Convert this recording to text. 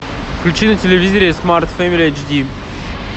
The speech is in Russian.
включи на телевизоре смарт фэмели эйч ди